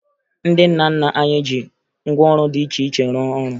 Ndị nna nna anyị ji ngwaọrụ dị iche iche rụọ ọrụ